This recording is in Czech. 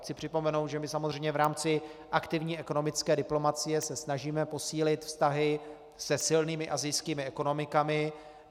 Chci připomenout, že my samozřejmě v rámci aktivní ekonomické diplomacie se snažíme posílit vztahy se silnými asijskými ekonomikami.